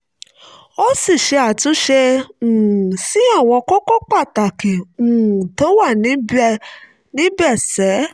ó sì ṣe àtúnṣe um sí àwọn kókó pàtàkì um tó wà níbẹ̀ ṣe